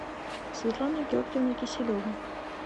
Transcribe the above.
светлана георгиевна киселева